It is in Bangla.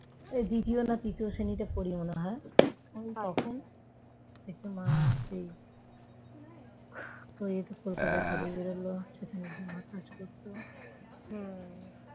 দ্বিতীয় না তৃতীয় শ্রেণীতে পড়ি মনে হয় তখন থেকে মা সেই কলকাতায় কাজে বেড়ালো সেখান থেকে মা কাজ করতো ।